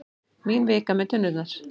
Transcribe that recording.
Mín vika með tunnurnar.